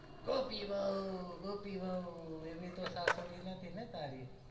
ગોપી વઉં ગોપી વઉં એવી તો સાસુડી નથી ને તારી